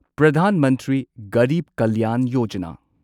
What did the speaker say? Pradhan Mantri Garib Kalyan Yojana